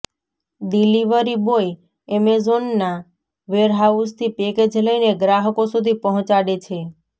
delivery boy અમેઝોનના વેરહાઉસથી package લઇને ગ્રાહકો સુધી પહોંચાડે છે